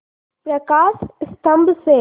प्रकाश स्तंभ से